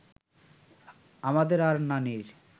আমাদের আর নানির